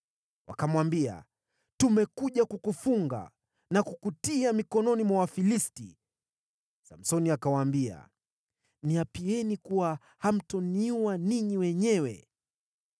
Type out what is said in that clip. Wakamwambia, “Tumekuja kukufunga na kukutia mikononi mwa Wafilisti.” Samsoni akawaambia, “Niapieni kuwa hamtaniua ninyi wenyewe.”